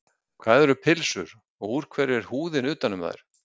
Hvað eru pylsur og úr hverju er húðin utan um þær?